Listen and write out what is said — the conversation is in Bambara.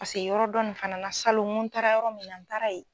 Paseke yɔrɔ dɔ nin fana na salon n ko taara yɔrɔ min na n taara yen.